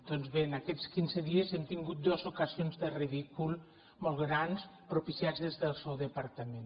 doncs bé en aquests quinze dies hem tingut dues ocasions de ridícul molt grans propiciats des del seu departament